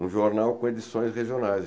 Um jornal com edições regionais.